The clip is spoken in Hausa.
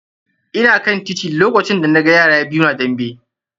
Ina kan titi lokacin da na ga yara biyu na dambe.